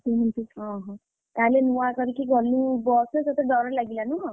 କେମିତି କଣ ହବ? ତାହେଲେ ନୂଆ କରିକି ଗଲୁ ବସ ରେ ତତେ ଡ଼ର ଲାଗିଲା ନୁହଁ?